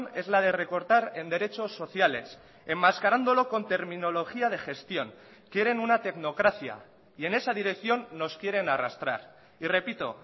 es la de recortar en derechos sociales enmascarándolo con terminología de gestión quieren una tecnocracia y en esa dirección nos quieren arrastrar y repito